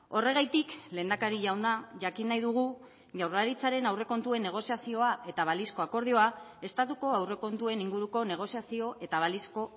horregatik lehendakari jauna jakin nahi dugu jaurlaritzaren aurrekontuen negoziazioa eta balizko akordioa estatuko aurrekontuen inguruko negoziazio eta balizko